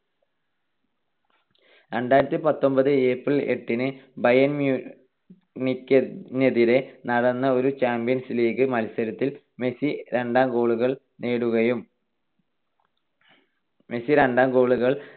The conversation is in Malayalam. രണ്ടായിരത്തിപത്തൊൻപത് April എട്ടിന് ബയേൺ മ്യൂണിക്കിനെതിരെ നടന്ന ഒരു ചാമ്പ്യൻസ് ലീഗ് മത്സരത്തിൽ മെസ്സി രണ്ട് goal കൾ നേടുകയും മെസ്സി രണ്ട് goal കൾ